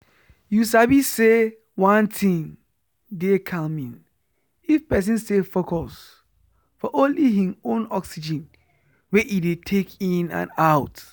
you sabi say one thing dey calming if person stay focus for only hin own oxygen wey e dey take in and out